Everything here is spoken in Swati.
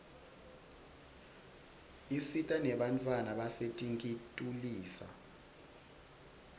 isita nebantfwana basetinkitulisa